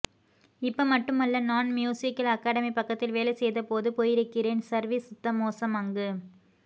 இப்ப மட்டுமல்ல நான் மீயூஸிக் அகடமிபக்கத்தில் வேலை செய்த போது போயிருக்கிறேன் சர்விஸ் சுத்த மோசம் அங்கு